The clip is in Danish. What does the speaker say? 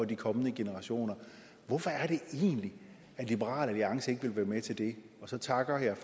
de kommende generationer hvorfor er det egentlig at liberal alliance ikke vil være med til det så takker jeg